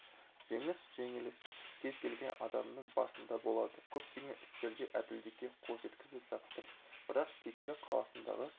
жеңіс жеңіліс кез-келген адамның басында болады көптеген істерде әділдікке қол жеткізіп жаттым бірақ текелі қаласындағы